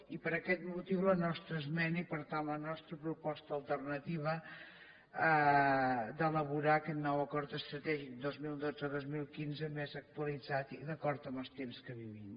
i per aquest motiu la nostra esmena i per tant la nostra proposta alternativa d’elaborar aquest nou acord estratègic dos mil dotze dos mil quinze més actualitzat i d’acord amb els temps que vivim